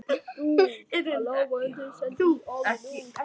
Már tók upp á ýmsu.